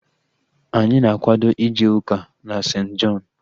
Anyị na-akwado ije ụka na St. Jọn